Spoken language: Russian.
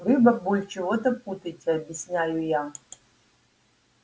вы бабуль чего-то путаете объясняю я